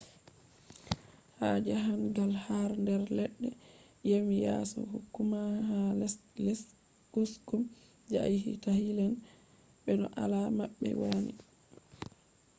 ha jahan gal har der ledde yami yaso kokumah ha lesde kesum je a yahi- ta hilne be no alada mabbe wani